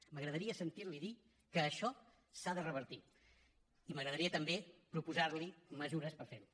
m’agradaria sentir li dir que això s’ha de revertir i m’agradaria també proposar li mesures per fer ho